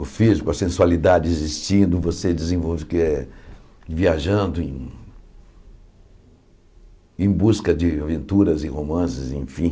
O físico, a sensualidade existindo, você desenvolve eh viajando em busca de aventuras e romances, enfim.